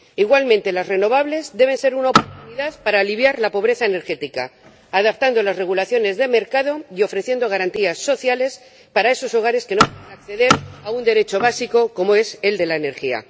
Igualmente, las renovables deben ser una oportunidad para aliviar la pobreza energética, adaptando las normas del mercado y ofreciendo garantías sociales para esos hogares que no pueden acceder a un derecho básico como es el de la energía.